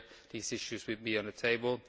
These issues will be on the table.